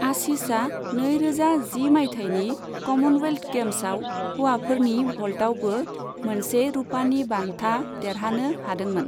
आशिषआ नैरोजा जि मायथायनि कमनवेल्ट गेम्साव हौवाफोरनि भल्तावबो मोनसे रुपानि बान्था देरहानो हादोंमोन।